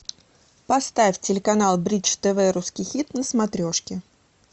поставь телеканал бридж тв русский хит на смотрешке